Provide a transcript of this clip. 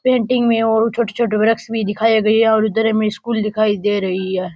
Painting में ओरु छोटे छोटे वृछ भी दिखाए गए है और उधर हमे स्कूल दिखाई दे रही है।